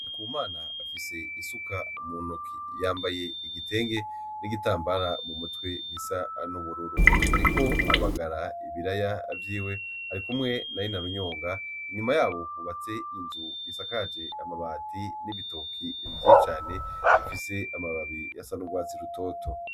Ariku mana afise isuka mu ntoki yambaye igitenge n'igitambara mu mutwe gisa n'ubururu, ariko abagara ibiraya vyiwe ari kumwe na ri narunyonga inyuma yabo hubatse inzu isakaje amabati n'ibitoki vye cane bifise amababi ya sa n' urwatsi rutoto.